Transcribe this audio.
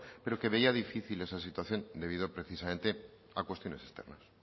pero que veía difícil esa situación debido precisamente a cuestiones externas